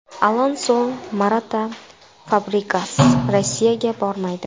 Alonso, Morata, Fabregas Rossiyaga bormaydi.